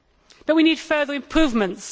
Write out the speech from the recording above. But we need further improvements.